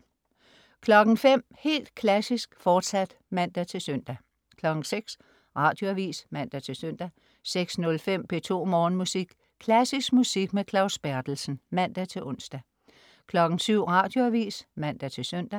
05.00 Helt Klassisk, fortsat (man-søn) 06.00 Radioavis (man-søn) 06.05 P2 Morgenmusik . Klassisk musik med Claus Berthelsen. (man-ons) 07.00 Radioavis (man-søn)